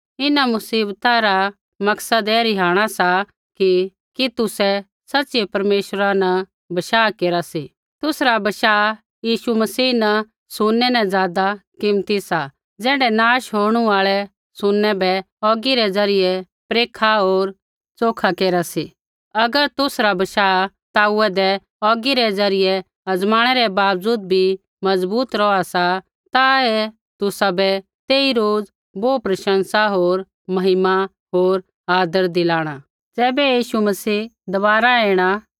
इन्हां मुसीबता रा मकसद ऐ रिहाणा सा कि कि तुसै सच़िऐ परमेश्वरा न बशाह केरा सी तुसरा बशाह यीशु मसीह न सुनै न ज़ादा कीमती सा ज़ैण्ढै नाश होणू आल़ै सुनै बै औगी रै ज़रियै परेखू होर च़ोखा केरा सी अगर तुसरा बशाह ताउदै औगी रै ज़रियै अजमाणै रै बावजूद भी मजबूत रौहा सा ता ऐ तुसाबै तेई रोज़ बोहू प्रशंसा होर महिमा होर आदर दिलाणा ज़ैबै यीशु मसीह दबारा ऐणा